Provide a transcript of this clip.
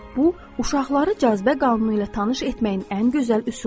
Bu uşaqları cazibə qanunu ilə tanış etməyin ən gözəl üsuludur.